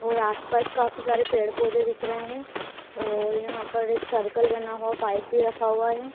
और आसपास काफी सारे पेड़ पौधे दिख रहे हैं और यहां पर एक सर्कल बना हुआ पाइप भी रखा हुआ है।